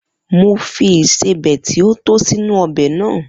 Mo fi ìsébẹ̀ ti o tó sínú ọbẹ̀ náà.